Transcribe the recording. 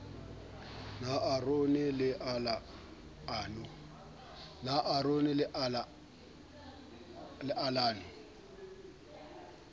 nar aron le al ano